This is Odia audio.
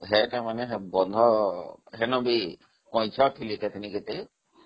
ସେଇଟା ମାନେ incomplete